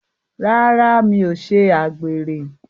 Rárá, mi ò ṣe àgbèrè.